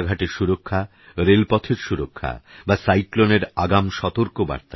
রাস্তাঘাটেরসুরক্ষা রেলপথেরসুরক্ষাবাসাইক্লোনেরআগামসতর্কবার্তা